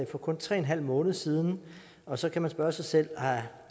for kun tre en halv måned siden og så kan man spørge sig selv